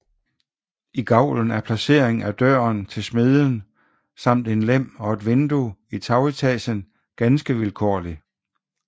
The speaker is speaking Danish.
I gavlen er placeringen af døren til smedjen samt en lem og et vindue i tagetagen ganske vilkårlig